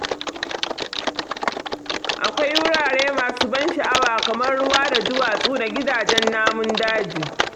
Akwai wurare masu ban sha'awa kamar ruwa da duwatsu da gidajen namun daji.